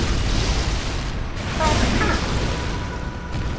Hvað er að?